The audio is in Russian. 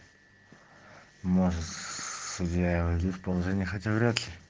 можешь судья войдёт в положение хотя врядли